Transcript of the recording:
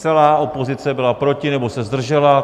Celá opozice byla proti nebo se zdržela.